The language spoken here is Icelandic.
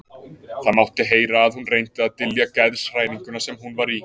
Það mátti heyra að hún reyndi að dylja geðshræringuna sem hún var í.